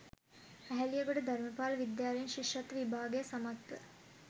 ඇහැලියගොඩ ධර්මපාල විද්‍යාලයෙන් ශිෂ්‍යත්ව විභාගය සමත්ව